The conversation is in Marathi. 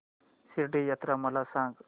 शिर्डी यात्रा मला सांग